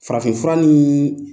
Farafinfura nin